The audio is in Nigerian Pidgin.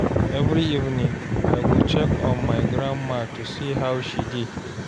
Every evening, I go check on my grandma to see how she dey.